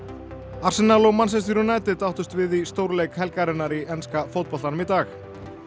Manchester United áttust við í stórleik helgarinnar í enska fótboltanum í dag